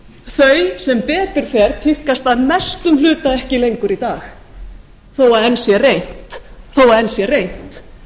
þau sem betur fer tíðkast að mestum hluta ekki lengur í dag þó að enn sé reynt